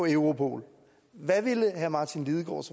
europol hvad ville herre martin lidegaard